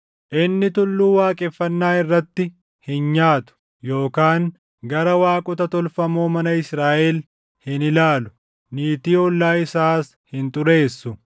“Inni tulluu waaqeffannaa irratti hin nyaatu yookaan gara waaqota tolfamoo mana Israaʼel hin ilaalu. Niitii ollaa isaas hin xureessu.